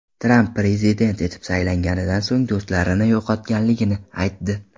Tramp prezident etib saylanganidan so‘ng do‘stlarini yo‘qotganligini aytdi.